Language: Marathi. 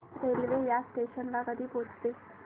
रेल्वे या स्टेशन ला कधी पोहचते